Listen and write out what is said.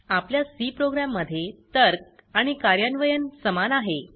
आपल्या C program मध्ये तर्क आणि कर्यान्वयन समान आहे